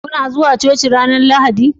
Kana zuwa cuci ranar Lahadi?